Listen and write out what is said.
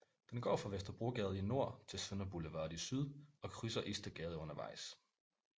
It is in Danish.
Den går fra Vesterbrogade i nord til Sønder Boulevard i syd og krydser Istedgade undervejs